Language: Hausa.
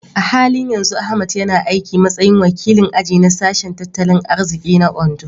A halin yanzu Ahmad yana aiki a matsayin wakilin aji na Sashen Tattalin Arziki na Ondo.